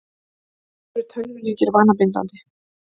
Eru tölvuleikir vanabindandi?